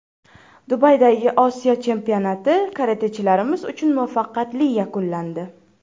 Dubaydagi Osiyo chempionati karatechilarimiz uchun muvaffaqiyatli yakunlandi.